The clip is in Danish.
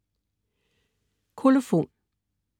Kolofon